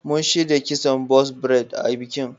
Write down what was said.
Mun shirya kison box braid a bikin.